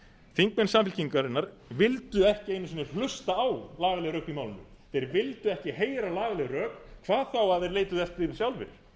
þingmenn samfylkingarinnar vildu ekki einu sinni hlusta á lagaleg rök í málinu þeir vildu ekki heyra lagaleg rök hvað þá að þeir leituðu eftir því